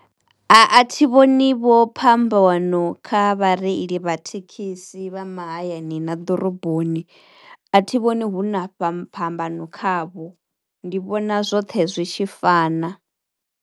A thi vhoni vho phambano kha vhareili vha thekhisi vha mahayani na ḓoroboni, a thi vhoni hu na fha phambano khavho. Ndi vhona zwoṱhe zwi tshi fana.